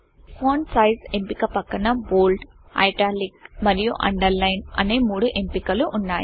font size ఎంపిక పక్కన bold italic మరియు Underlineఅండర్లైన్ అనే మూడు ఎంపికలు ఉన్నాయి